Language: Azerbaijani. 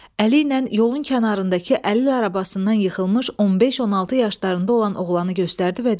Əli ilə yolun kənarındakı əlil arabasından yıxılmış 15-16 yaşlarında olan oğlanı göstərdi və dedi: